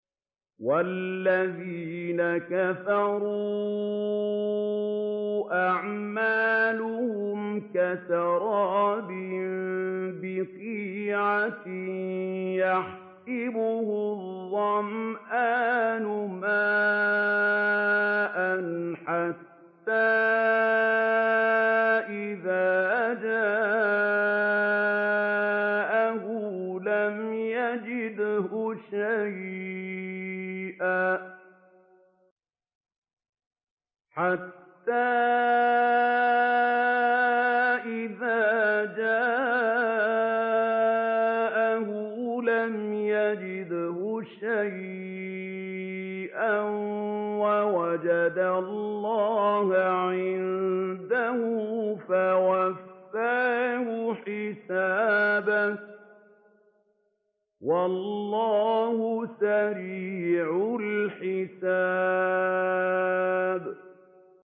وَالَّذِينَ كَفَرُوا أَعْمَالُهُمْ كَسَرَابٍ بِقِيعَةٍ يَحْسَبُهُ الظَّمْآنُ مَاءً حَتَّىٰ إِذَا جَاءَهُ لَمْ يَجِدْهُ شَيْئًا وَوَجَدَ اللَّهَ عِندَهُ فَوَفَّاهُ حِسَابَهُ ۗ وَاللَّهُ سَرِيعُ الْحِسَابِ